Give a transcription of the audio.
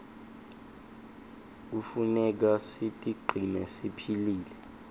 knefuneka sitigcine siphilile